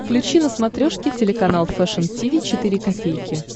включи на смотрешке телеканал фэшн ти ви четыре ка